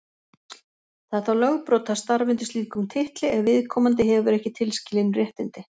Það er þá lögbrot að starfa undir slíkum titli ef viðkomandi hefur ekki tilskilin réttindi.